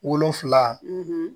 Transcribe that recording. Wolonfila